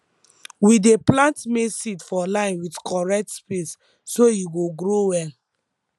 we dey plant maize seed for line with correct space so e go grow well